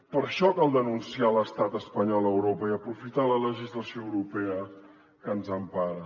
per això cal denunciar l’estat espanyol a europa i aprofitar la legislació europea que ens empara